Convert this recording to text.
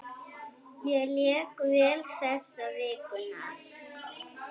Ég lék vel þessa vikuna.